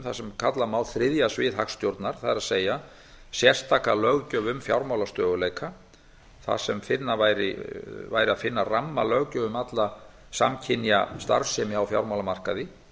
sem kalla má þriðja svið hagstjórnar það er sérstaka löggjöf um fjármálastöðugleika þar sem væri að finna rammalöggjöf um alla samkynja starfsemi á fjármálamarkaði